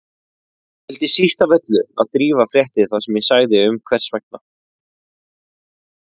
Ég vildi síst af öllu að Drífa frétti það sem ég sagði um hvers vegna